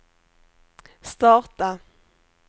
starta